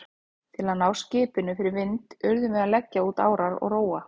Til að ná skipinu fyrir vind urðum við að leggja út árar og róa.